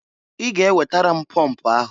I ga ewetara m pọmp ahụ!